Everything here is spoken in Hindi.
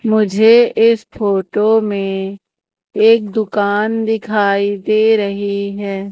मुझे इस फोटो में एक दुकान दिखाई दे रही हैं।